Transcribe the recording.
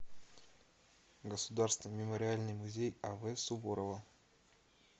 государственный мемориальный музей ав суворова